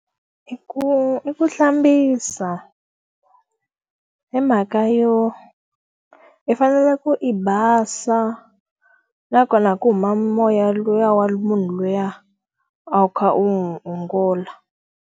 I ku i ku hlambisa. Hi mhaka yo, i fanele ku i basa, nakona ku huma moya luwa wa munhu luya a wu kha u n'wi ongola.